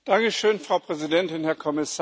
Frau Präsidentin, Herr Kommissar!